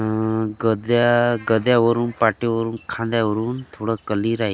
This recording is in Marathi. आह गद्या गद्यावरून पाठीवरून खांद्यावरून थोडं कली राही --